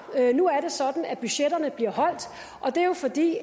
nu er det sådan at budgetterne bliver holdt og det er jo fordi